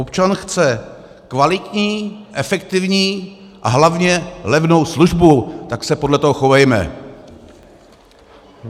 Občan chce kvalitní, efektivní a hlavně levnou službu, tak se podle toho chovejme!